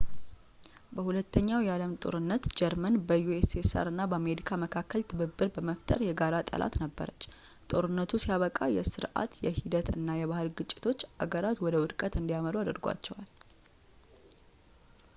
በ 2 ኛው የዓለም ጦርነት ጀርመን በ ussr እና በአሜሪካ መካከል ትብብር በመፍጠር የጋራ ጠላት ነበረች። ጦርነቱ ሲያበቃ የሥርዓት ፣ የሂደት እና የባህል ግጭቶች አገራት ወደ ወድቀት እንዲመሩ አድርጓቸዋል